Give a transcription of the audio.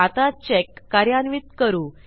आता चेक कार्यान्वित करू